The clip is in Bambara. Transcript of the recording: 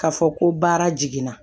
K'a fɔ ko baara jiginna